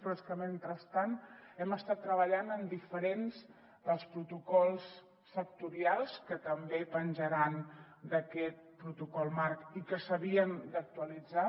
però és que mentrestant hem estat treballant en diferents dels protocols sectorials que també penjaran d’aquest protocol marc i que s’havien d’actualitzar